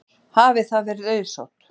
Hafi það verið auðsótt.